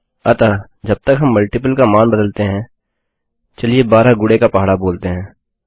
अतः जब तक हम गुणज का मान बदलते हैं चलिए 12 गुणे का पहाड़ा बोलते हैं